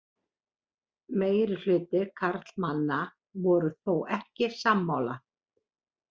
Meirihluti karlmanna voru þó ekki sammála